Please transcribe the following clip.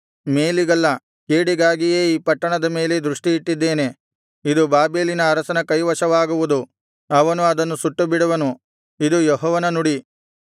ಮೇಲಿಗಲ್ಲ ಕೇಡಿಗಾಗಿಯೇ ಈ ಪಟ್ಟಣದ ಮೇಲೆ ದೃಷ್ಟಿಯಿಟ್ಟಿದ್ದೇನೆ ಇದು ಬಾಬೆಲಿನ ಅರಸನ ಕೈವಶವಾಗುವುದು ಅವನು ಅದನ್ನು ಸುಟ್ಟುಬಿಡುವನು ಇದು ಯೆಹೋವನ ನುಡಿ